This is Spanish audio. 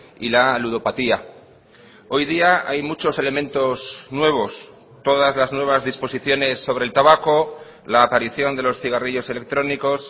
y la ludopatía hoy día hay muchos elementos nuevos todas las nuevas disposiciones sobre el tabaco la aparición de los cigarrillos electrónicos